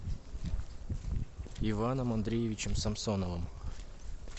иваном андреевичем самсоновым